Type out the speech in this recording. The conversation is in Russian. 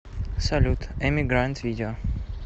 салют эми грант видео